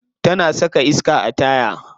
Tana saka iska a taya.